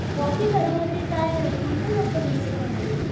बाकी घरामध्ये काय कोण कोण असतं तुमच्या घरामध्ये?